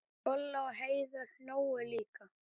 Kolla og Heiða hlógu líka.